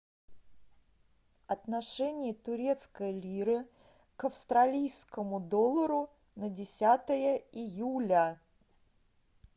отношение турецкой лиры к австралийскому доллару на десятое июля